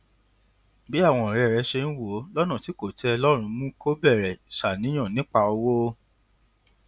bí àwọn ọrẹ rẹ ṣe ń wò ó lọnà tí kò tẹ ẹ lọrùn mú kó bẹrẹ ṣàníyàn nípa owó